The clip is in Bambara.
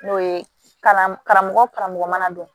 N'o ye kalan karamɔgɔ karamɔgɔ mana don